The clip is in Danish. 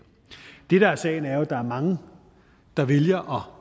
der er sagen er jo at der er mange der vælger